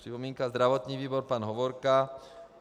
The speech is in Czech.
Připomínka zdravotního výboru - pan Hovorka.